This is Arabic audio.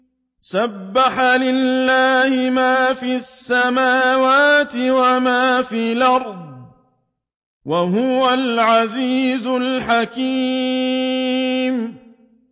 سَبَّحَ لِلَّهِ مَا فِي السَّمَاوَاتِ وَمَا فِي الْأَرْضِ ۖ وَهُوَ الْعَزِيزُ الْحَكِيمُ